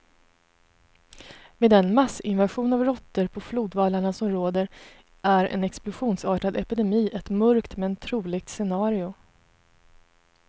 Med den massinvasion av råttor på flodvallarna som råder är en explosionsartad epidemi ett mörkt, men troligt scenario.